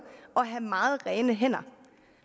og have meget rene hænder